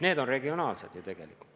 Need on regionaalsed ettevõtmised tegelikult.